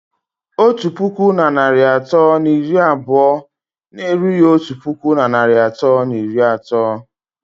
Otu puku na narị atọ na iri abụọ na-erughị otu puku na narị atọ na iri atọ